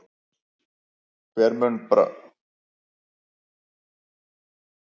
Hver mun mér þá trúr ef faðirinn bregst?